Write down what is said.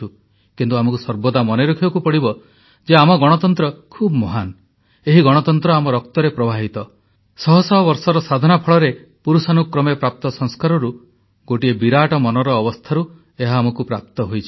କିନ୍ତୁ ଆମକୁ ସର୍ବଦା ମନେ ରଖିବାକୁ ପଡିବ ଯେ ଆମ ଗଣତନ୍ତ୍ର ଖୁବ୍ ମହାନ୍ ଏହି ଗଣତନ୍ତ୍ର ଆମ ରକ୍ତରେ ପ୍ରବାହିତ ଶହ ଶହ ବର୍ଷର ସାଧନା ଫଳରେ ପୁରୁଷାନୁକ୍ରମେ ପ୍ରାପ୍ତ ସଂସ୍କାରରୁ ଗୋଟିଏ ବିରାଟ ମନର ଅବସ୍ଥାରୁ ଏହା ଆମକୁ ପ୍ରାପ୍ତ ହୋଇଛି